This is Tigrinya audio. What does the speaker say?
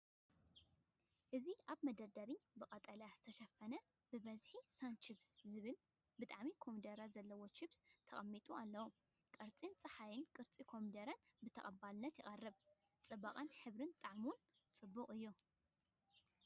ኣብዚ መደርደሪ ብቐጠልያ ዝተሸፈኑ ብብዝሒ “ሳን ቺፕስ” ዝበሃሉ ጣዕሚ ኮሚደረ ዘለዎም ቺፕስ ተቐሚጦም ኣለዉ። ቅርጺ ጸሓይን ቅርጺ ኮሚደረን ብተቐባልነት ይቐርብ። ጽባቐ ሕብርን ጣዕሙን ጽቡቕ እዩ።